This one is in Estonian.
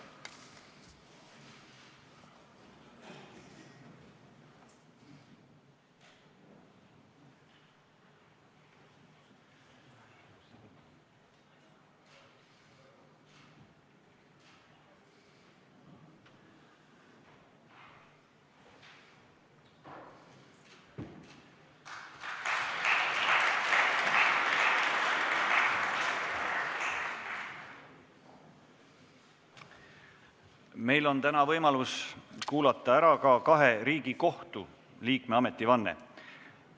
Meil on täna võimalus kuulata ära ka kahe Riigikohtu liikme ametivanne.